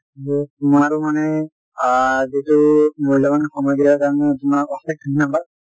তোমৰো মানে অ যিটো মূল্যবান সময় দিয়া কাৰনে তোমাক অশেষ ধন্যবাদ ।